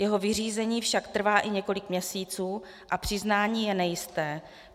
Jeho vyřízení však trvá i několik měsíců a přiznání je nejisté.